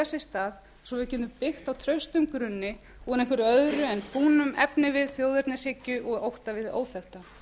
sé stað svo að við getum byggt á traustum grunni úr einhverju öðru en fúnum efnivið þjóðernishyggju og ótta við hið óþekkta